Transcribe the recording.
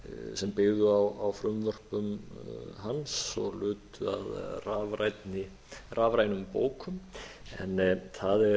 sem byggðu á frumvörpum hans og lutu að rafrænum bókum en það er